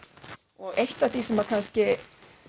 og eitt af því sem kannski